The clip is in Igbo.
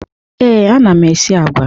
Ee, ana m esi agwa.